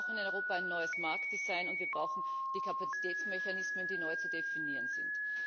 Wir brauchen in Europa ein neues Marktdesign und wir brauchen die Kapazitätsmechanismen, die neu zu definieren sind.